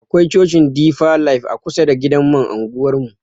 Akwai cocin difa laif a kusa da gidan man anguwar mu.